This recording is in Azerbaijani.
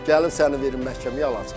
Gəlin səni verim məhkəməyə alacam.